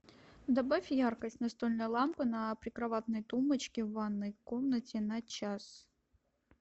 добавь яркость настольной лампы на прикроватной тумбочке в ванной комнате на час